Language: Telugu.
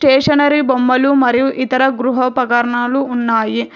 స్టేషనరీ బొమ్మలు మరియు ఇతర గృహ పగర్నాలు ఉన్నాయి.